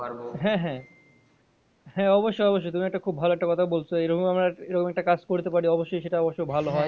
হ্যাঁ হ্যাঁ হ্যাঁ অবশ্যই অবশ্যই তুমি একটা ভালো একটা কথা বলছ এরকম আমরা এরকম একটা কাজ করতে পারি অবশ্যই সেটা অবশ্য ভালো হয়